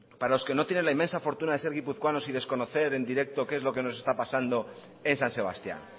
para los que no tienen la inmensa fortuna de ser guipuzcoanos y desconocer en directo lo que nos esta pasando en san sebastián